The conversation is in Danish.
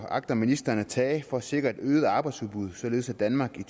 agter ministeren at tage for at sikre et øget arbejdsudbud således at danmark i